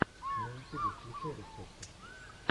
на ютюбе включай рецепты